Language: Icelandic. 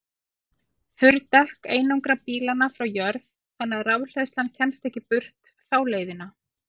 Þurr dekk einangra bílana frá jörð þannig að rafhleðslan kemst ekki burt þá leiðina.